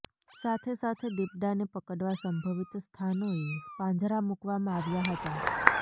સાથે સાથે દિપડાને પકડવા સંભવિત સ્થાનોએ પાંજરા મૂકવામાં આવ્યા હતા